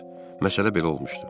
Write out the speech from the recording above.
Məsələ belə olmuşdu.